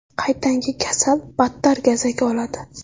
Qaytanga kasal battar gazak oladi.